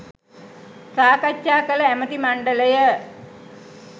සාකච්ඡා කළ ඇමති මණ්ඩලය